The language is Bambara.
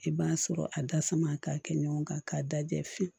I b'a sɔrɔ a da sama ka kɛ ɲɔgɔn kan k'a da jɛ fiyewu